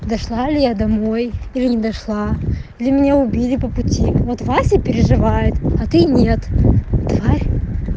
дошла ли я домой или не дошла или меня убили по пути вот вася переживает а ты нет тварь